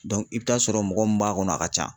i be taa sɔrɔ mɔgɔ min b'a kɔnɔ a ka ca.